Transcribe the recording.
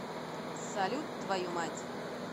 салют твою мать